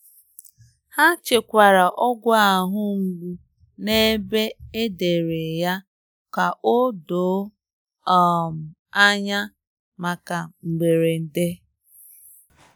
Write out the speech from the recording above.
Ha chekwara ọgwụ ahụ mgbụ n'ebe e dere ya ka odoo um anya maka mgberede. maka mgberede.